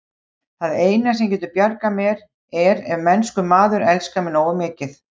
Það eina, sem getur bjargað mér, er ef mennskur maður elskar mig nógu mikið.